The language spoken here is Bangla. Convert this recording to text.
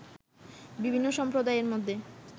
বিভিন্ন সম্প্রদায়ের মধ্যে